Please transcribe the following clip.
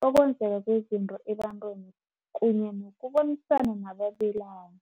bokwenzeka kwezinto ebantwini kunye nangokubonisana nababelani.